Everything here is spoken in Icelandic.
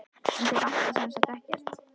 En þig vantar sem sagt ekkert?